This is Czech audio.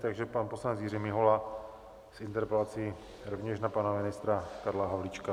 Takže pan poslanec Jiří Mihola s interpelací rovněž na pana ministra Karla Havlíčka.